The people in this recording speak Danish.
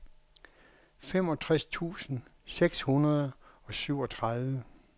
femogtres tusind seks hundrede og syvogtredive